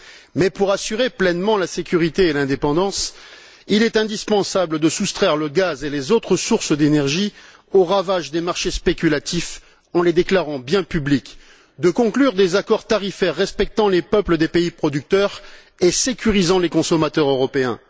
Mais pour assurer pleinement la sécurité et l'indépendance, il est indispensable de soustraire le gaz et les autres sources d'énergie aux ravages des marchés spéculatifs en les déclarant biens publics, de conclure des accords tarifaires respectant les peuples des pays producteurs et sécurisant les consommateurs européens.